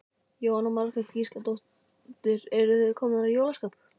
Jóhanna Margrét Gísladóttir: Eruð þið komnar í jólaskap?